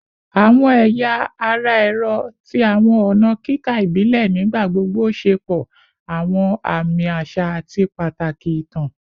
Awọn ẹya ara ẹrọ ti awọn ọna kika ibile nigbagbogbo ṣepọ awọn aami aṣa ati pataki itan